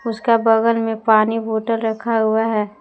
उसका बगल में पानी बॉटल रखा हुआ है।